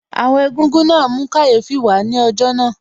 Àwọn Egúngún náà mú kàyéfì wà á ní ọjọ́ náà